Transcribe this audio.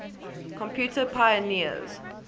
computer pioneers